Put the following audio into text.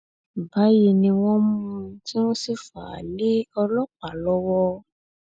báyìí ni wọn mú un tí wọn sì fà á lé ọlọpàá lọwọ